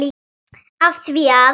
Af því að.